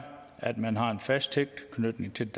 at man har en fast tilknytning til